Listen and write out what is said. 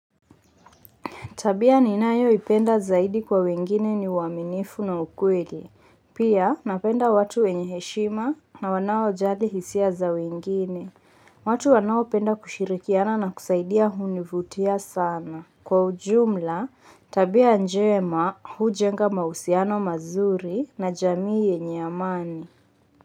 Tabia ninayoipenda zaidi kwa wengine ni uaminifu na ukweli. Pia napenda watu wenye heshima na wanaojali hisia za wengine. Watu wanaopenda kushirikiana na kusaidia hunivutia sana. Kwa ujumla, tabia njema hujenga mahusiano mazuri na jamii yenye amani.